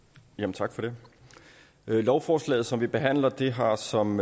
tak for det lovforslaget som vi behandler har som